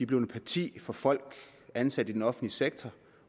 blevet partier for folk ansat i den offentlige sektor